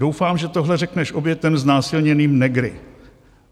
"Doufám, že tohle řekneš obětem znásilněným negry."